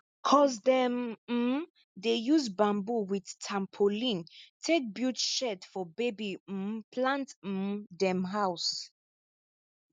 cuz dem um dey use bamboo with tapolin take build shed for baby um plant um dem house